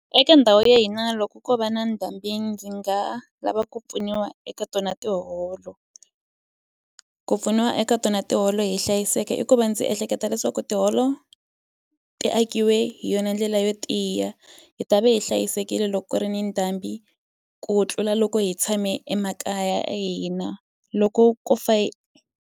Eka ndhawu ya hina loko ko va na ndhambi ndzi nga lava ku pfuniwa eka tona tiholo ku pfuniwa eka tona tiholo hi hlayiseke i ku va ndzi ehleketa leswaku tiholo ti akiwe hi yona ndlela yo tiya hi ta ve hi hlayisekile loko ku ri ni ndhambi ku tlula loko hi tshame emakaya ya hina loko ko fa.